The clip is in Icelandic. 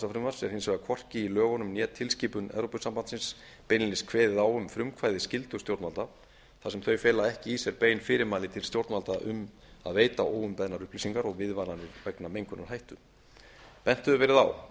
frumvarps er hins vegar hvorki í lögunum né tilskipun evrópusambandsins beinlínis kveðið á um frumkvæðisskyldu stjórnvalda þar sem þau fela ekki í sér bein fyrirmæli til stjórnvalda um að veita óumbeðnar upplýsingar og viðvaranir vegna mengunarhættu bent hefur verið á að